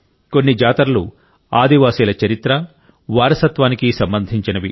కొన్ని జాతరలు ఆదివాసీల చరిత్ర వారసత్వానికి సంబంధించినవి